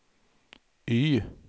Y